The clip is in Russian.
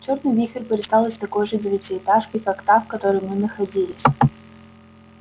чёрный вихрь вырастал из такой же девятиэтажки как та в которой мы находились